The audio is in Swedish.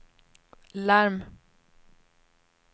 larm